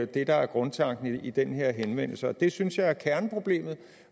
det der er grundtanken i den her henvendelse det synes jeg er kerneproblemet